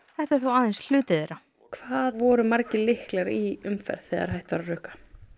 þetta er þó aðeins hluti þeirra hvað voru margir lyklar í umferð þegar hætt var að rukka